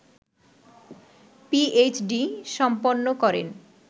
PhD সম্পন্ন করেন